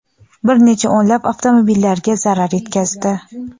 bir necha o‘nlab avtomobillarga zarar yetkazdi.